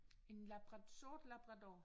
En Labra sort labrador